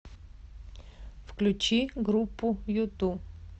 включи группу юту